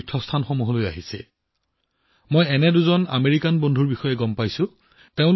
কেলিফৰ্ণিয়াৰ পৰা অমৰনাথ যাত্ৰা কৰিবলৈ ইয়ালৈ অহা এনে দুজন আমেৰিকান বন্ধুৰ বিষয়ে মই জানিব পাৰিছো